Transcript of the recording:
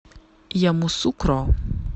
ямусукро